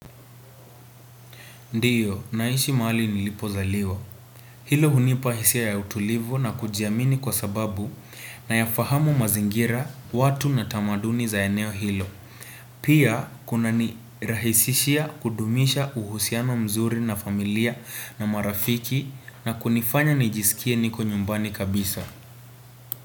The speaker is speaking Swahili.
Ndiyo, naishi mahali nilipo zaliwa. Hilo hunipa hisia ya utulivu na kujiamini kwa sababu nayafahamu mazingira watu na tamaduni za eneo hilo. Pia, kuna nirahisishia kudumisha uhusiano mzuri na familia, na marafiki na kunifanya nijisikie niko nyumbani kabisa.